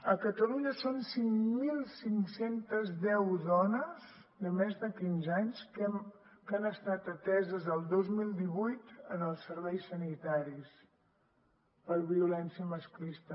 a catalunya són cinc mil cinc cents i deu dones de més de quinze anys que han estat ateses el dos mil divuit als serveis sanitaris per violència masclista